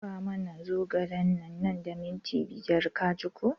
Ka da fa muna zogale nan da minti biyar ka ji ko!